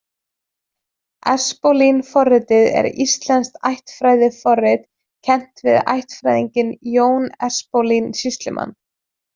Espólín-forritið er íslenskt ættfræðiforrit, kennt við ættfræðinginn Jón Espólín sýslumann.